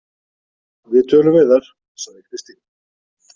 Við tölum við þær, sagði Kristín.